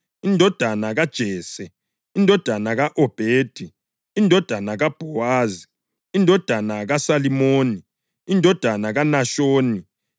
indodana kaJese, indodana ka-Obhedi, indodana kaBhowazi, indodana kaSalimoni, indodana kaNashoni,